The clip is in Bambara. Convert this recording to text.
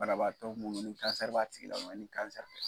Banabaatɔ munnu ni b'a tigi la ni